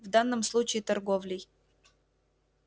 в данном случае торговлей